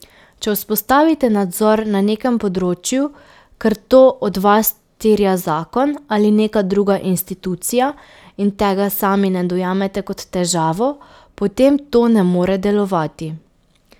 Če vzpostavite nadzor na nekem področju, ker to od vas terja zakon ali neka druga institucija, in tega sami ne dojamete kot težavo, potem to ne more delovati.